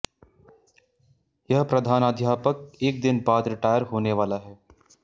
यह प्रधानाध्यापक एक दिन बाद रिटायर होने वाला है